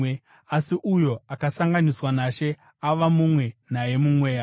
Asi uyo akasanganiswa naShe ava mumwe naye mumweya.